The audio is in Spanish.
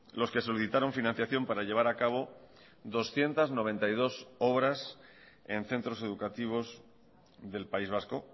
los que solicitaron financiación para llevar a cabo doscientos noventa y dos obras en centros educativos del país vasco